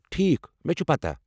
ٹھیٖک، مےٚ چُھ پتاہ؟